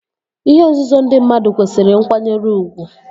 Ihe nzuzo ndị mmadụ kwesịrị nkwanyere ugwu